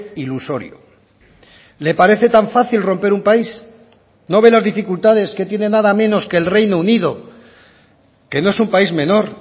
ilusorio le parece tan fácil romper un país no ve las dificultades que tiene nada menos que el reino unido que no es un país menor